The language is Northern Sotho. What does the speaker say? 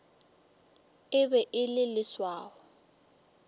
e be e le leswao